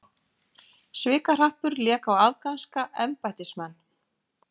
Svikahrappur lék á afganska embættismenn